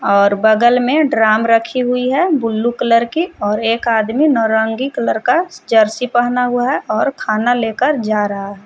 ओर बगल में ड्राम रखी हुई है बुल्लू कलर की ओर एक आदमी नोरंगी कलर का जर्सी पहना हुआ है ओर खाना ले कर जा रहा है।